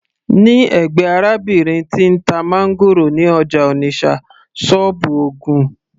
ní ẹ̀gbẹ́ arábìnrin tí ń ta máńgòrò ní ọjà Onitsha, sọ́ọ́bù ogún